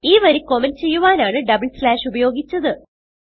ഈ വരി കമന്റ് ചെയ്യുവാനാണ് ഡബിൾ സ്ലാഷ് ഉപയോഗിച്ചത്